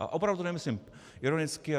A opravdu to nemyslím ironicky.